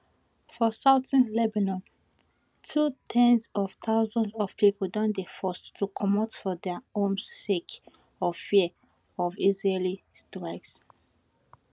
for southern lebanon too ten s of thousands of pipo don dey forced to comot from dia homes sake of fears of israeli strikes